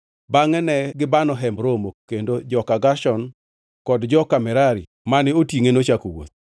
Bangʼe ne gibano Hemb Romo, kendo joka Gershon kod joka Merari mane otingʼe, nochako wuoth.